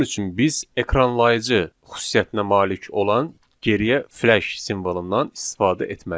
Bunun üçün biz ekranlayıcı xüsusiyyətinə malik olan geriyə flash simvolundan istifadə etməliyik.